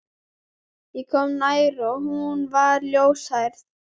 Ég kom nær og hún var ljóshærð.